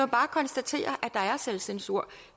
bare konstatere at der er selvcensur